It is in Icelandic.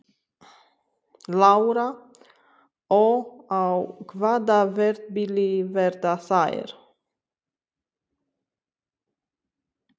Lára: Og á hvaða verðbili verða þær?